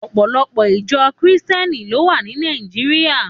Òpòlòpò ijò Kristièní ló wá ni Nàijiriá